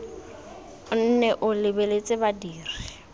o nne o lebeletse badiri